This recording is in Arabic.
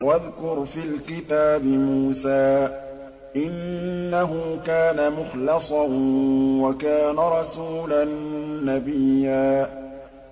وَاذْكُرْ فِي الْكِتَابِ مُوسَىٰ ۚ إِنَّهُ كَانَ مُخْلَصًا وَكَانَ رَسُولًا نَّبِيًّا